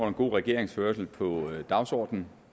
om god regeringsførelse på dagsordenen